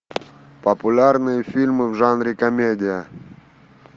популярные фильмы в жанре комедия